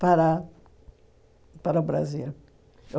para para o Brasil.